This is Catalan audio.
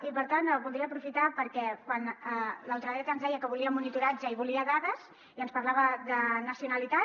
i per tant voldria aprofitar perquè quan la ultradreta ens deia que volia monitoratge i volia dades i ens parlava de nacionalitat